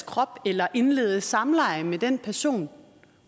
krop eller indlede samleje med den person